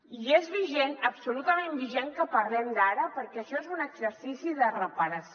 i és vigent absolutament vigent que en parlem ara perquè això és un exercici de reparació